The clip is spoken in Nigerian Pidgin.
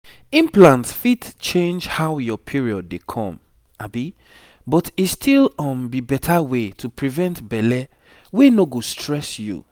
implant fit change how your period dey come but e still um be better way to prevent belle wey no go stress you